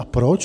A proč?